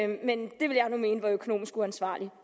mene er økonomisk uansvarligt